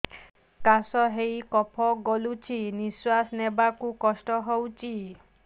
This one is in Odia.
କାଶ ହେଇ କଫ ଗଳୁଛି ନିଶ୍ୱାସ ନେବାକୁ କଷ୍ଟ ହଉଛି